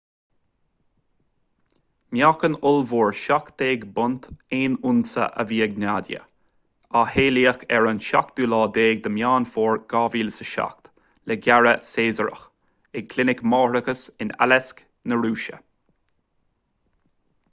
meáchan ollmhór 17 bpunt 1 unsa a bhí ag nadia a saolaíodh ar an 17 meán fómhair 2007 le gearradh caesarach ag clinic mháithreachais in aleisk na rúise